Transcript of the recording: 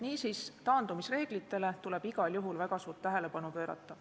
Niisiis, taandumisreeglitele tuleb igal juhul väga suurt tähelepanu pöörata.